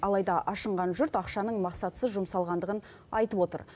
алайда ашынған жұрт ақшаның мақсатсыз жұмсалғандығын айтып отыр